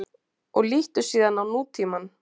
Og líttu síðan á nútímann.